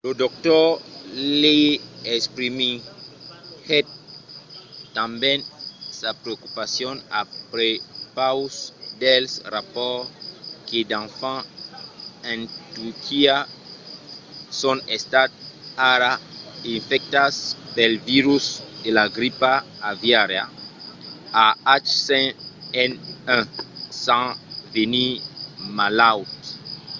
lo dr. lee exprimiguèt tanben sa preocupacion a prepaus dels rapòrts que d'enfants en turquia son estats ara infectats pel virus de la gripa aviària ah5n1 sens venir malauts